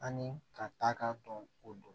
Ani ka taa k'a dɔn o don